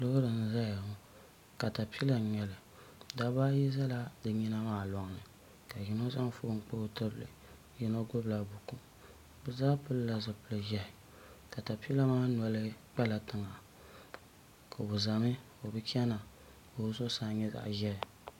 loori n-zaya ŋɔ katapila n-nyɛli dabba ayi zala di nyina maa lɔŋni ka yino zaŋ foon kpa o tibili yino gbubi la buku bɛ zaa pili la zupil' ʒehi katapila maa noli kpala tiŋa o zami o bi chana ka o zuɣusaa nyɛ zaɣ' ʒehi.